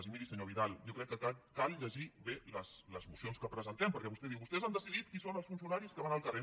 i miri senyor vidal jo crec que cal llegir bé les mocions que presentem perquè vostè diu vostès han decidit qui són els funcionaris que van al carrer